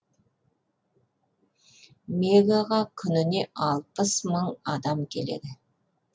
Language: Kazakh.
мегаға күніне алпыс мың адам келеді